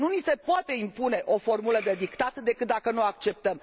Nu ni se poate impune o formulă de dictat, decât dacă noi o acceptăm.